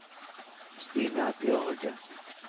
Stina Bjørge